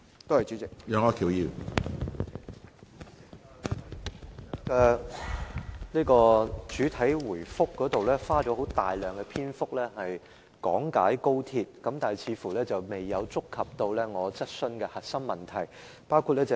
局長在作出主體答覆時，花了很多時間講解高鐵，但卻未有觸及我的主體質詢的核心問題。